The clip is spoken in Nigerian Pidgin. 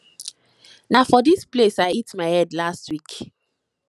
na for dis place i hit my head last week